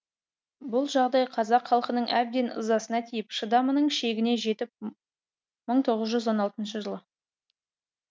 бұл жағдай қазақ халқының әбден ызасына тиіп шыдамының шегіне жетіп мың тоғыз жүз он алтыншы жылы